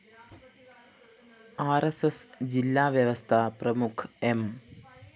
R S S ജില്ലാ വ്യവസ്ഥാ പ്രമുഖ് എം